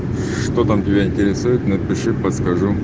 что там тебя интересует напиши подскажу